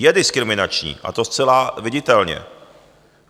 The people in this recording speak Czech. Je diskriminační, a to zcela viditelně.